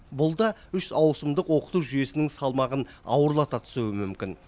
бұл да үш ауысымдық оқыту жүйесінің салмағын ауырлата түсуі мүмкін